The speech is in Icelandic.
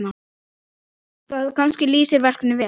Það kannski lýsir verkinu vel.